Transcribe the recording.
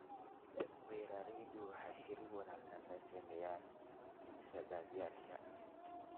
Beeraleydu waxay xiriir wanaagsan la sameynayaan iibsadayaasha.